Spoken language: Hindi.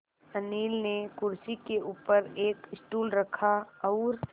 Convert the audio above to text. अनिल ने कुर्सी के ऊपर एक स्टूल रखा और